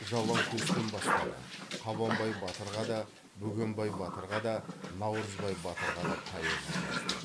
жалаңтөстен бастады қабанбай батырға да бөгенбай батырға да наурызбай батырға да поэма жазды